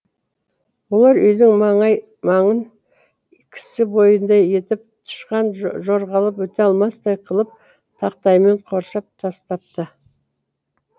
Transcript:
олар үйдің маңай маңын кісі бойындай етіп тышқан жорғалап өте алмастай қылып тақтаймен қоршап тастапты